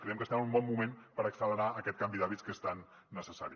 creiem que estem en un bon moment per accelerar aquest canvi d’hàbits que és tan necessari